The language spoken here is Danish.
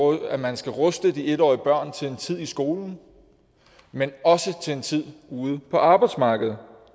at man skal ruste de en årige børn til en tid i skolen men også til en tid ude på arbejdsmarkedet